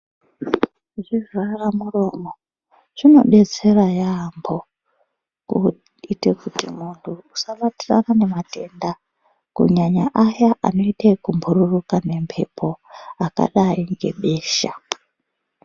Zvivhara muromo zvino detsera yambo kuite kuti muntu usa batirana ne matenda kunyanya aya anoite yeku mbururuka nge mbepo akadai nge besha.